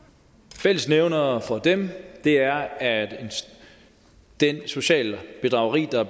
fællesnævneren for dem er at det sociale bedrageri der